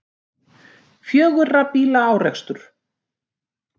Fjögurra bíla árekstur